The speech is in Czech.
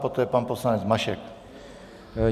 Poté pan poslanec Mašek.